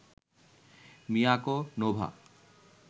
Miyako, Nova